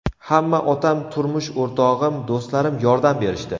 Hamma otam, turmush o‘rtog‘im, do‘stlarim yordam berishdi.